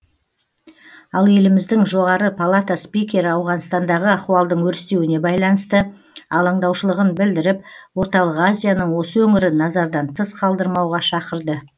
ал еліміздің жоғары палата спикері ауғанстандағы ахуалдың өрістеуіне байланысты алаңдаушылығын білдіріп орталық азияның осы өңірін назардан тыс қалдырмауға шақырды